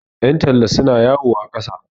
yantalla suna yawo a ƙasa